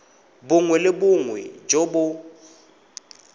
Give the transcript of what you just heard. bongwe le bongwe jo bo